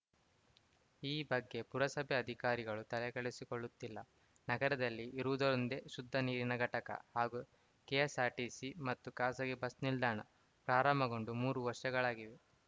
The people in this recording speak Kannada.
ಈ ಬಗ್ಗೆ ಪುರಸಭೆ ಅಧಿಕಾರಿಗಳು ತಲೆಕೆಡೆಸಿಕೊಳ್ಳುತ್ತಿಲ್ಲ ನಗರದಲ್ಲಿ ಇರುವುದೊಂದೇ ಶುದ್ಧ ನೀರಿನ ಘಟಕ ಹಾಗೂ ಕೆಎಸ್‌ಆರ್‌ಟಿಸಿ ಮತ್ತು ಖಾಸಗಿ ಬಸ್‌ ನಿಲ್ದಾಣ ಪ್ರಾರಂಭಗೊಂಡು ಮೂರು ವರ್ಷಗಳಾಗಿವೆ